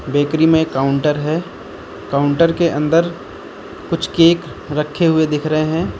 Bakery में counter है। Counter के अंदर कुछ केक रखे हुए दिख रहे हैं।